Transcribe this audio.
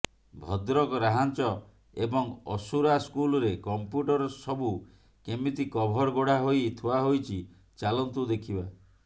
ଭଦ୍ରକ ରାହାଞ୍ଜ ଏବଂ ଅସୁରା ସ୍କୁଲରେ କମ୍ପ୍ୟୁଟର ସବୁ କେମିତି କଭର ଘୋଡ଼ା ହୋଇ ଥୁଆହୋଇଛି ଚାଲନ୍ତୁ ଦେଖିବା